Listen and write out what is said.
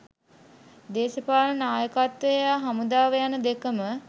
දේශපාලන නායකත්ව හා හමුදාව යන දෙකම